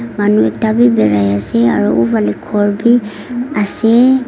Manu ekta bi barai ase aro uh phale ghor bi ase.